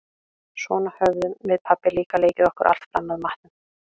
Svona höfðum við pabbi líka leikið okkur alltaf fram að matnum.